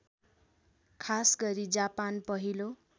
खासगरी जापान पहिलो